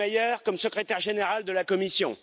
Selmayr comme secrétaire général de la Commission.